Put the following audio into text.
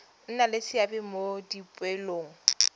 nna le seabe mo dipoelong